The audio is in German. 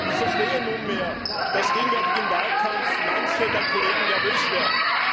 Ich verstehe nunmehr, dass gegenwärtig im Wahlkampf manche der Kollegen nervös werden.